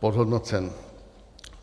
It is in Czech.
podhodnocen.